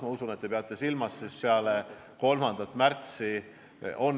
Ma usun, et te peate silmas arenguid peale 3. märtsi.